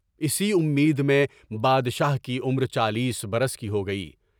اسی امید میں بادشاہ کی عمر چالیس برس کی ہو گئی۔